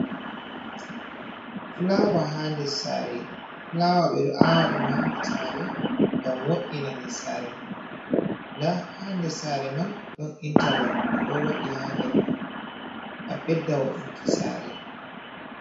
Fulawa ha dessare. Fulawa ɓe ɗo awa ɗum ha desare ngam wo'ina dessare man, nda ha dessare man, ɗon inta log ɓe ɗon waɗi ha nder man ngam ɓedda wo'inki sare.